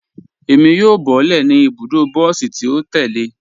Ẹ̀mi yóò bọ̀lẹ́ ní ibùdó bọsí tì o tẹ̀lẹ̀.